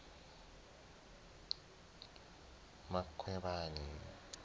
ngwakwamkhwebani